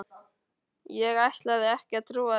Ég ætlaði ekki að trúa þessu.